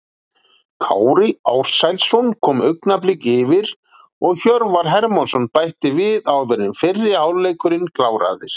Kári Ársælsson kom Augnabliki yfir og Hjörvar Hermansson bætti við áður en fyrri hálfleikurinn kláraðist.